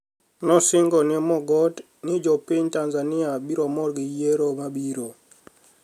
nosinigo ni e Mogoti nii jopiniy tanizaniia biro mor gi yiero mabiro.